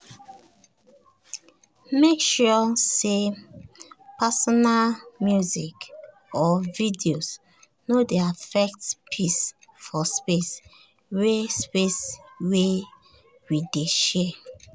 each of us join head together to design a layout wey dey support privacy and easy movement.